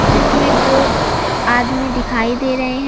चित्र में दो आदमी दिखाई दे रहे हैं।